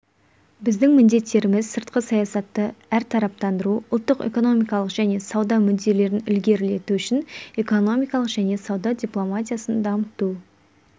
біздің міндеттеріміз сыртқы саясатты әртараптандыру ұлттық экономикалық және сауда мүдделерін ілгерілету үшін экономикалық және сауда дипломатиясын дамыту